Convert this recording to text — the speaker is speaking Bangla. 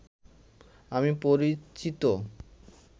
আমি পরিচিত